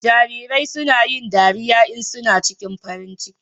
Jarirai suna yin dariya in suna cikin farin ciki.